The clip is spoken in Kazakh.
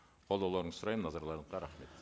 қолдауларыңызды сұраймын назарларыңызға рахмет